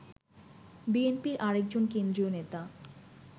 বিএনপির আরেকজন কেন্দ্রীয় নেতা